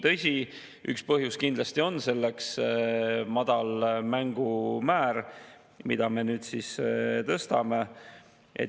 Tõsi, üks põhjus selleks kindlasti on madal määr, mida me nüüd tõstame.